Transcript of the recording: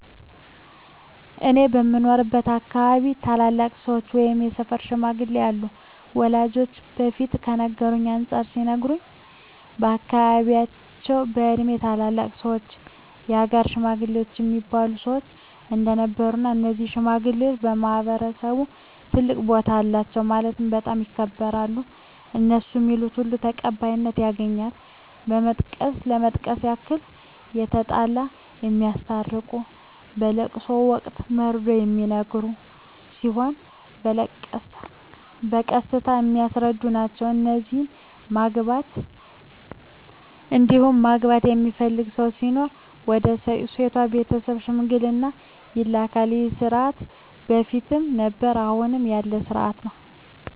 እኔ በምኖርበት አካባቢ ታላላቅ ሰዎች ወይም የሰፈር ሽማግሌዎች አሉ ወላጆቼ በፊት ከነበረው አንፃር ሲነግሩኝ በአካባቢያቸው በእድሜ ትላልቅ ሰዎች የሀገር ሽማግሌ እሚባሉ ሰዎች እንደነበሩ እና እነዚህ ሽማግሌዎች በማህበረሰቡ ትልቅ ቦታ አላቸው ማለትም በጣም ይከበራሉ እነሡ ሚሉት ሁሉ ተቀባይነት ያገኛል ለመጥቀስ ያክል የተጣላ የሚያስታርቁ በለቅሶ ወቅት መርዶ ሚነገር ሲሆን በቀስታ የሚያስረዱ ናቸዉ እንዲሁም ማግባት የሚፈልግ ሰው ሲኖር ወደ ሴቷ ቤተሰብ ሽምግልና ይላካሉ ይህ ስርዓት በፊትም ነበረ አሁንም ያለ ስርአት ነው።